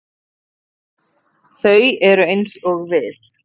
Þau eru eins og við.